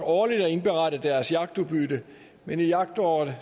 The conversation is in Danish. årligt at indberette deres jagtudbytte men i jagtåret